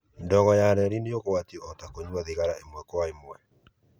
Ndogo ya kerĩ nĩ ũgwati o ta kũnyua thigara ĩmwe kwa ĩmwe.